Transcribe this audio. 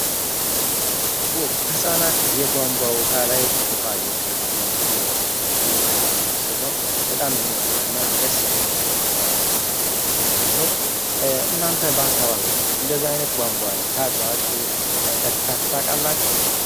ሕፃናት የቧንቧ ውሃ ላይ እኋ የቀዱ እየጠቱ የሚያሳየ ምስል ነው በጣም የሚያምር እና ደስ የሚል እንትናለው እናንተ በአካባቢዎችው እንደዛይነት ቧንቧ ላይ ታጥባችሁ ጠጥታችሁ ታቃላችሁ፡፡